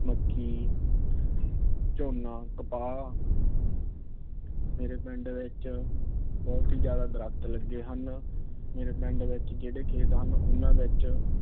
ਮੱਕੀ, ਝੋਨਾ, ਕਪਾਹ। ਮੇਰੇ ਪਿੰਡ ਵਿੱਚ ਬਹੁਤ ਹੀ ਜਿਆਦਾ ਦਰਖ਼ਤ ਲੱਗੇ ਹਨ। ਮੇਰੇ ਪਿੰਡ ਵਿਚ ਜਿਹੜੇ ਖੇਤ ਹਨ। ਉਹਨਾਂ ਵਿੱਚ